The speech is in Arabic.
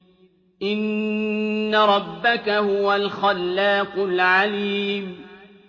إِنَّ رَبَّكَ هُوَ الْخَلَّاقُ الْعَلِيمُ